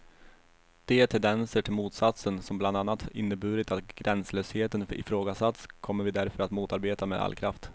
De tendenser till motsatsen, som bland annat inneburit att gränslösheten ifrågasatts, kommer vi därför att motarbeta med all kraft.